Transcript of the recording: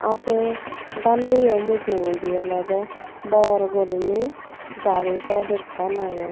ah se daan buyo mujungedi olodey bor goriney gaari pod ekkan agey.